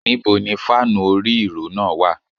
Níbo ni fáànù orí - ìró náà wà.?